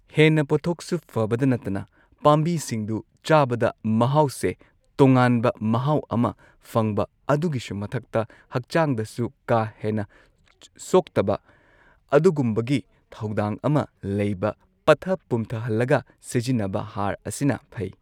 ꯍꯦꯟꯅ ꯄꯣꯠꯊꯣꯛꯁꯨ ꯐꯕꯗ ꯅꯠꯇꯅ ꯄꯥꯝꯕꯤꯁꯤꯡꯗꯨ ꯆꯥꯕꯗ ꯃꯍꯥꯎꯁꯦ ꯇꯣꯉꯥꯟꯕ ꯃꯍꯥꯎ ꯑꯃ ꯐꯪꯕ ꯑꯗꯨꯒꯤꯁꯨ ꯃꯊꯛꯇ ꯍꯛꯆꯥꯡꯗꯁꯨ ꯀꯥ ꯍꯦꯟꯅ ꯁꯣꯛꯇꯕ ꯑꯗꯨꯒꯨꯝꯕꯒꯤ ꯊꯧꯗꯥꯡ ꯑꯃ ꯂꯩꯕ ꯄꯠꯊ ꯄꯨꯝꯊꯍꯜꯂꯒ ꯁꯤꯖꯤꯟꯅꯕ ꯍꯥꯔ ꯑꯁꯤꯅ ꯐꯩ꯫